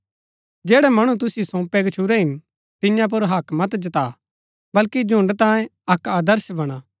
जैड़ै मणु तुसिओ सौंपै गच्छुरै हिन तियां पुर हक्क मत जता बल्कि झुण्ड़ तांयें अक्क आदर्श बणा